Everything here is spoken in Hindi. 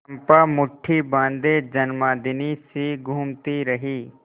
चंपा मुठ्ठी बाँधे उन्मादिनीसी घूमती रही